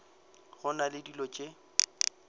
go na le dilo tše